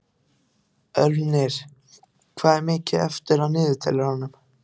Ölvir, hvað er mikið eftir af niðurteljaranum?